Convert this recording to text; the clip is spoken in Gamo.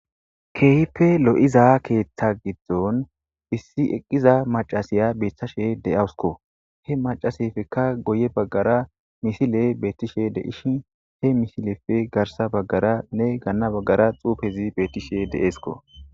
Keehipe lo'iza keeththa giddon issi eqqiza macasiya beeththashe de'awus he macasefekka goye baggara misile beettishe deishin he misilefe garsa baggara ne ganna baggara xuufezi beettishe de'eesko.